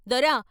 " దొరా!